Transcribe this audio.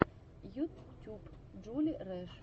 ютюб джули рэш